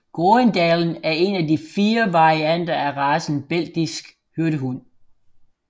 Groenendaelen er en af de 4 varianter af racen Belgisk Hyrdehund